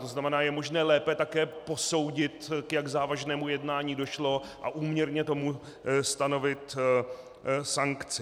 To znamená, je možné lépe také posoudit, jak k závažnému jednání došlo, a úměrně tomu stanovit sankci.